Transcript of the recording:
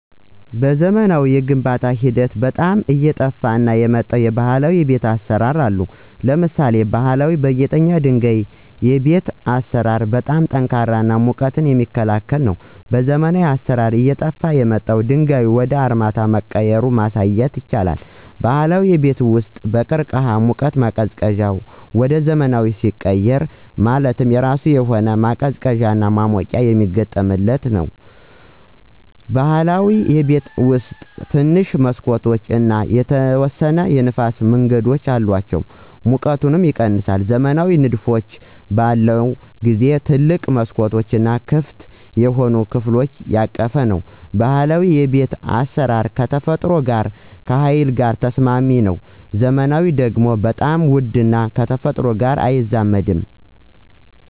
በዘመናዊ የግንባታ ሂደት ውስጥ አየጠፍ የመጣው የባህላዊ የቤት አሰራር አሉ። ለምሳሌ ባሀላዊ በጊጠኛ ድንጋይ የቤት አሰራር በጣም ጠንካራ እና ሙቀት የሚክላከል ነው። በዘመናዊ አሰራር የጠፍው ድንጋዩ ወደ አርማታ በመቀየራ ማሳየት ይቻላል። ባህላዊ የቤት ውስጥ በቅርቅህ ሙቀት ማቀዝቀዚያ ወደ ዘመናዊ ሲቀየር HVAC ማለት የራሱ የሆነ አቤቱታ ማሞቅና መቀዝቀዝ ይችላል። በብህላዊ ቤት ውስጥ ትንሽ መሠኮቶች እና የተወሰነ የንፍስ መንገድ አላቸው ሙቀቱም ይቀነሳል። ዘመናዊ ንድፎች በለውን ጊዜው ትልቅ መስኮቶች እና ክፍት የሆኑ ከፍሎች ያቀፈ ነው። ባህላዊ የቤት አስራር ከተፈጥሮ ጋር ከሀይል ጋር ተስማሚ ነው። ዘመናዊ ደግሞ በጣም ውድ እና ከተፈጥሮ ጋር አይዛመድም።